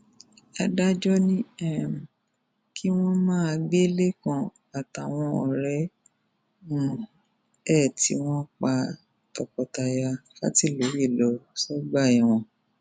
adájọ ní um kí wọn máa gbé lẹkan àtàwọn ọrẹ um ẹ tí wọn pa tọkọtaya fàtìlóye lọ sọgbà ẹwọn